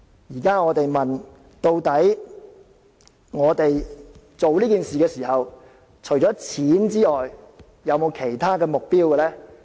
現在我們問，究竟我們做這件事的時候，除了金錢之外，有沒有其他目標呢？